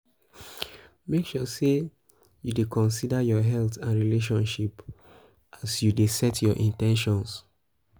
make sure say you de consider your health and relationship relationship as you de set your in ten tions